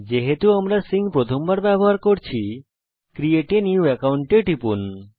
যেহেতু আমরা প্রথমবার সিঙ্ক এর ব্যবহার করছি ক্রিয়েট a নিউ একাউন্ট টিপুন